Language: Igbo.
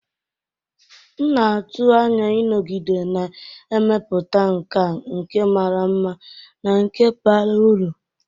M na-atụ anya ịnọgide na-emepụta nkà nke mara mma na nke bara uru.